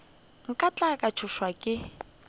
nka tla ka tšhošwa ke